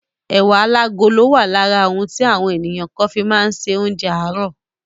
Ẹ̀wà alágolo wà lára ohun tí àwọn ènìyàn kàn fi má ń ṣe oúnjẹ àárò.